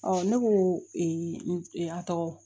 ne ko n a tɔgɔ